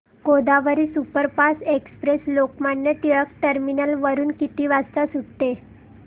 Godavari superfast express Lokmanya Tilak terminus वरून किती वाजता सुटते